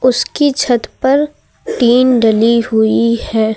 उसकी छत पर टीन डली हुई है।